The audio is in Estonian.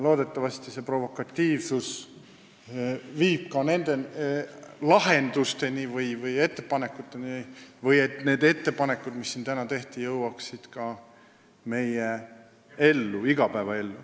Loodetavasti see provokatiivsus viib ka lahenduste või ettepanekuteni ja et need ettepanekud, mis siin tehti, viiakse ka ellu.